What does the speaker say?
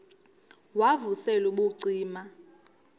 wav usel ubucima